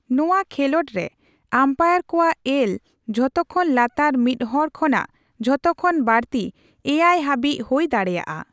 ᱱᱚᱣᱟ ᱠᱷᱮᱞᱳᱰ ᱨᱮ ᱟᱢᱯᱟᱭᱟᱨ ᱠᱚᱣᱟᱜ ᱮᱞ ᱡᱷᱚᱛᱚᱠᱷᱚᱱ ᱞᱟᱛᱟᱨ ᱢᱤᱫ ᱦᱚᱲ ᱠᱷᱚᱱᱟᱜ ᱡᱷᱚᱛᱚᱠᱷᱚᱱ ᱵᱟᱹᱲᱛᱤ ᱮᱭᱟᱭ ᱦᱟᱨᱤᱡ ᱦᱳᱭ ᱫᱟᱲᱮᱭᱟᱜᱼᱟ ᱾